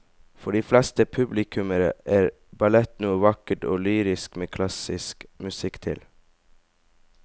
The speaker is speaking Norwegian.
For de fleste publikummere er ballett noe vakkert og lyrisk med klassisk musikk til.